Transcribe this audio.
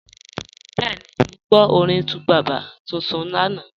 Bẹẹni, mọ́ gbọ́ orin 2Baba tuntun lánà.